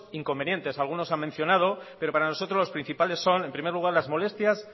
inconvenientes algunos han mencionado pero para nosotros los principales son en primer lugar las molestias